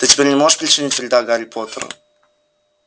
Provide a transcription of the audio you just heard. ты теперь не можешь причинить вреда гарри поттеру